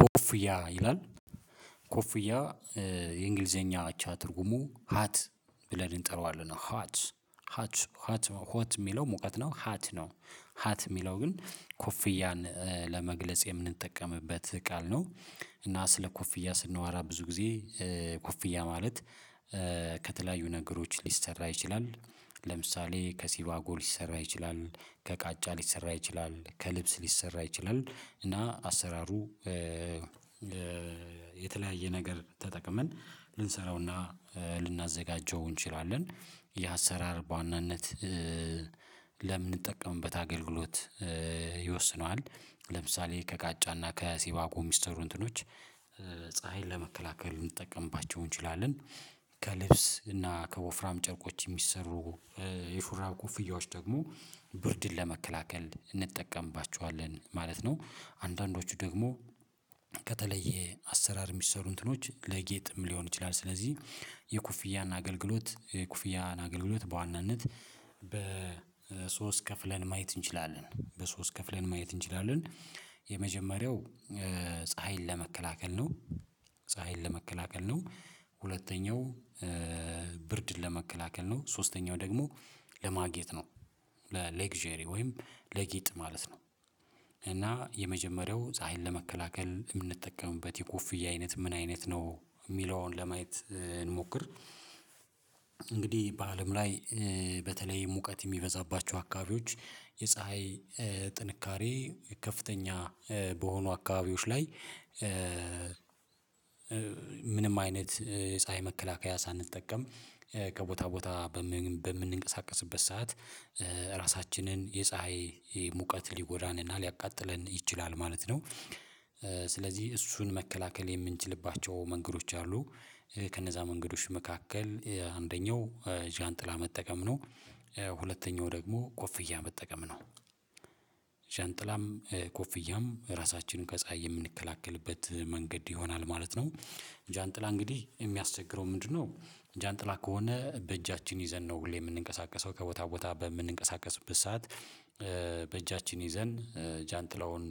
ኮፍያ ይላል። ኮፍያ የእንግሊዘኛ አቻ ትርጉሙ ሀት ብለን እንጠራዋለን ሀት ሀት ሀት ሆት እሚለው ሙቀት ነው ሀት ነው። ሀት እሚለው ግን ኮፍያን ለመግለጽ የምንጠቀምበት ቃል ነው። እና ስለ ኮፍያ ስናወራ ብዙ ጊዜ ኮፍያ ማለት ከተለያዩ ነገሮች ሊሰራ ይችላል ለምሳሌ ከሲባጎ ሊሰራ ይችላል ከቃጫ ሊሰራ ይችላል ከልብስ ሊሰራ ይችላል እና አሰራሩ የተለያየ ነገር ተጠቅመን ልንሰራውና እንችላለን ይህ አሰራር በዋናነት ለምንጠቀምበት አገልግሎት ይወስነዋል። ለምሳሌ ከቃጫና ከሲባጎ እሚሰሩ እንትኖች ፀሀይን ለመከላከል ልንጠቀምባቸው እንችላለን ከልብስ እና ከወፍራም ጨርቆች እሚሰሩ የሹራብ ኮፍያዎች ደግሞ ብርድን ለመከላከል እንጠቀምባቸዋለን ማለት ነው። አንዳንዶቹ ደግሞ ከተለየ አሰራር እሚሰሩ እንትኖች ለጌጥም ሊሆን ይችላል ስለዚህ። የኩፍያን አገልግሎት የኩፍያን አገልግሎት በዋናነት በሶስት ከፍለን ማየት እንችላለን። በሶስት ከፍለን ማየት እንችላለን። የመጀመሪያው ፀሀይን ለመከላከል ነው። ፀሀይን ለመከላከል ነው ሁለተኛው ብርድን ለመከላከል ነው ሶስተኛው ደግሞ ለማጌጥ ነው። ለሌግዠሪ ወይም ለጌጥ ማለት ነው። እና የመጀመሪያው ፀሀይን ለመከላከል እምንጠቀምበት የኮፍያ አይነት ምን አይነት ነው እሚለውን ለማየት እንሞክር። እንግዲህ በአለም ላይ በተለይ ሙቀት እሚበዛባቸው አካባቢዎች የፀሀይ ጥንካሬ ከፍተኛ በሆኑ አካባቢዎች ላይ ምንም አይነት ፀሀይ መከላከያ ሳንጠቀም ከቦታ ቦታ በምንንቀሳቀስበት ሰዓት ራሳችንን የፀሀይ ሙቀት ሊጎዳንና ሊያቃጥለን ይችላል ማለት ነው። ስለዚህ እሱን መከላከል የምንችልባቸው መንገዶች አሉ። ከነዛ መንገዶች መካከል አንደኛው ጃንጥላ መጠቀም ነው ሁለተኛው ደግሞ ኮፍያ መጠቀም ነው። ጃንጥላም ኮፍያም ራሳችንን ከፀሀይ የምንከላከልበት መንገድ ይሆናል ማለት ነው። ጃንጥላ እንግዲህ እሚያስቸግረው ምንድነው? ጃንጥላ ከሆነ በእጃችን ይዘን ነው ሁሌ እምንንቀሳቀሰው ከቦታ ቦታ በምንንቀሳቀስበት ሰዓት በእጃችን ይዘን ጃንጥላውን